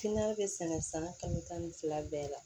bɛ sɛnɛ san kalo tan ni fila bɛɛ la